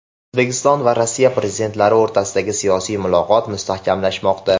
O‘zbekiston va Rossiya prezidentlari o‘rtasidagi siyosiy muloqot mustahkamlanmoqda.